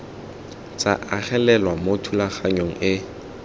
tsa agelelwa mo thulaganyong e